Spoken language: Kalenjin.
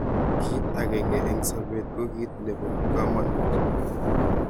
kit akenge eng sabet ko kit nebo kamangut